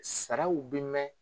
Saraw bi mɛɛn